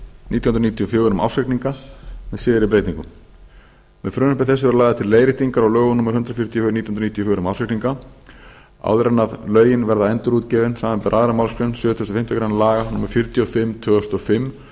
nítján hundruð níutíu og fjögur um ársreikninga með síðari breytingum með frumvarpi þessu eru lagðar til leiðréttingar á lögum númer hundrað fjörutíu og fjögur nítján hundruð níutíu og fjögur um ársreikninga áður en lögin verða endurútgefin samanber aðra málsgrein sjötugustu og fimmtu grein laga númer fjörutíu og fimm tvö þúsund og fimm um